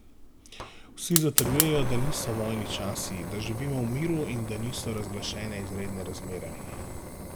Vsi zatrjujejo, da niso vojni časi, da živimo v miru in da niso razglašene izredne razmere.